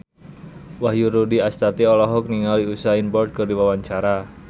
Wahyu Rudi Astadi olohok ningali Usain Bolt keur diwawancara